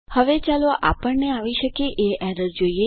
હવે ચાલો આપણને આવી શકે એ એરર જોઈએ